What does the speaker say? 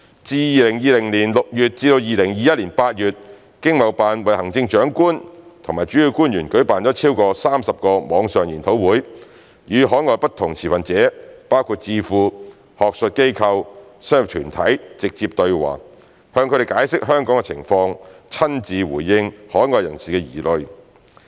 自2020年6月至2021年8月，經貿辦為行政長官及主要官員舉辦超過30個網上研討會，與海外不同持份者包括智庫、學術機構、商業團體直接對話，向他們解釋香港的情況，親自回應海外人士的疑慮。